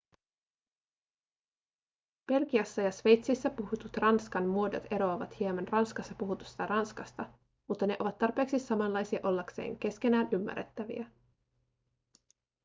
belgiassa ja sveitsissä puhutut ranskan muodot eroavat hieman ranskassa puhutusta ranskasta mutta ne ovat tarpeeksi samanlaisia ollakseen keskenään ymmärrettäviä